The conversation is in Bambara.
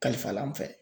Kalifa an fɛ